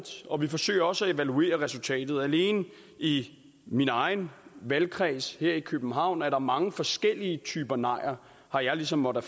og vi forsøger også at evaluere resultatet alene i min egen valgkreds her i københavn er der mange forskellige typer nejer har jeg ligesom måttet